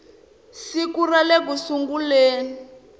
siku ra le ku sunguleni